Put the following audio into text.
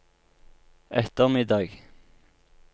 ettermiddag